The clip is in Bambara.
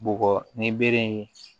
Bɔgɔ ni bere in